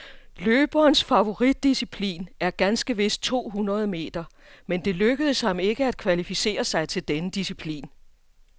Løberens favoritdisciplin er ganske vist to hundrede meter, men det lykkedes ham ikke at kvalificere sig til denne disciplin.